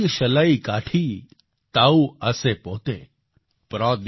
દિયશલાઈ કાઠી તાઉ આસે પોતે ||